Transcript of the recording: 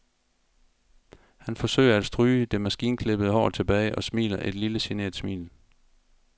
Han forsøger at stryge det maskinklippede hår tilbage og smiler et lille genert smil.